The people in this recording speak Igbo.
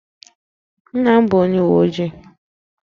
Nna m bụ onye uwe ojii